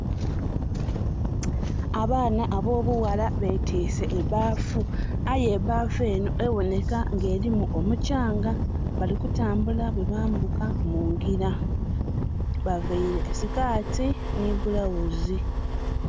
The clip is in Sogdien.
Abaana abobughala betiise ebbafu aye ebbafu enho eboneka nga erimu omukyanga, bali kutambula bwe bambuka mungira. Baveire sikati nhi bulawuzi.